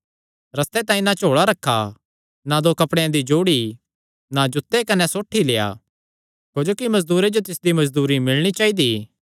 रस्ते तांई ना झोल़ा रखा ना दो कपड़ेयां दी जोड़ी ना जूते कने ना सोठी लेआ क्जोकि मजदूरे जो तिसदी मजदूरी मिलणी चाइदा